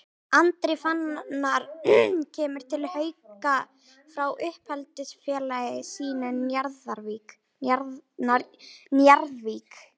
Andri Fannar kemur til Hauka frá uppeldisfélagi sínu Njarðvík.